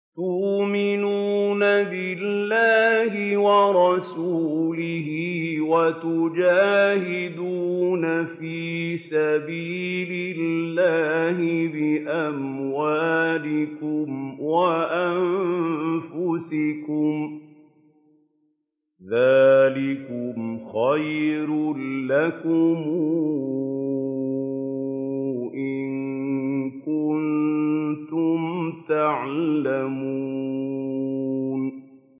تُؤْمِنُونَ بِاللَّهِ وَرَسُولِهِ وَتُجَاهِدُونَ فِي سَبِيلِ اللَّهِ بِأَمْوَالِكُمْ وَأَنفُسِكُمْ ۚ ذَٰلِكُمْ خَيْرٌ لَّكُمْ إِن كُنتُمْ تَعْلَمُونَ